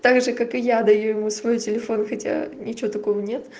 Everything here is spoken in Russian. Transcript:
также как и я даю ему свой телефон хотя ничего такого нет